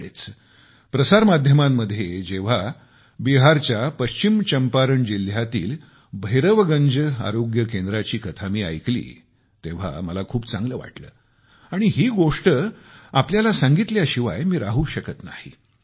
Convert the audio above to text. अलीकडेच प्रसार माध्यमांमध्ये जेव्हा बिहारच्या पश्चिम चंपारण जिल्ह्यातील भैरवगंज आरोग्य केंद्राची कथा मी ऐकली तेव्हा मला खूप चांगले वाटले आणि ही गोष्ट तुम्हाला सांगितल्याशिवाय मी राहू शकत नाही